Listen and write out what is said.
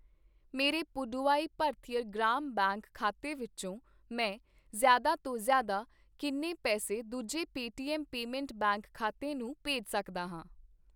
ਮੇਰੇ ਪੁਡੁਵਾਈ ਭਰਥਿਅਰ ਗ੍ਰਾਮ ਬੈਂਕ ਖਾਤੇ ਵਿੱਚੋ ਮੈਂ ਜ਼ਿਆਦਾ ਤੋਂ ਜ਼ਿਆਦਾ ਕਿੰਨੇ ਪੈਸੇ ਦੂਜੇ ਪੇਟੀਐੱਮ ਪੇਮੈਂਟਸ ਬੈਂਕ ਖਾਤੇ ਨੂੰ ਭੇਜ ਸਕਦਾ ਹਾਂ ?